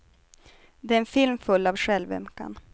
Det är en film full av självömkan.